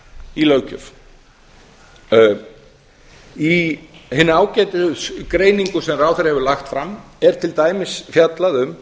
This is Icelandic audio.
í löggjöf í hinni ágætu greiningu sem ráðherra hefur lagt fram er til dæmis fjallað um